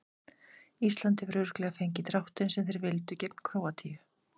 Ísland hefur örugglega fengið dráttinn sem þeir vildu gegn Króatíu.